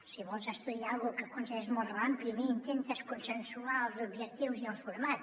si vols estudiar alguna cosa que consideres molt rellevant primer intentes consensuar els objectius i el format